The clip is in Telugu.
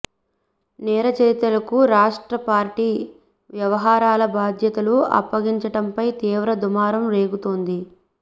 నేరచరితులకు రాష్ట్ర పార్టీ వ్యవహారాల బాధ్యతలు అప్పగించటంపై తీవ్ర దుమారం రేగుతోంది